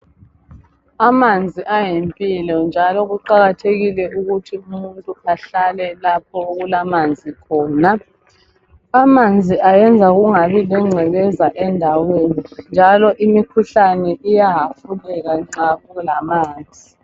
Amanzi ayimpilo njalo kuqakathekile umuntu ahlale lapho okulamanzi khona. amanzi ayenza kungabi kwengcekeza endaweni njalo imikhuhlane iba mhlutshwane nxa kulamanzi